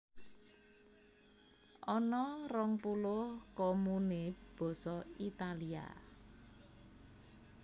Ana rong puluh komune Basa Italia